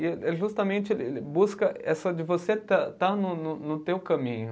E é justamente ele busca essa de você estar estar no teu caminho.